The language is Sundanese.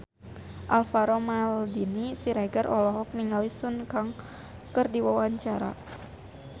Alvaro Maldini Siregar olohok ningali Sun Kang keur diwawancara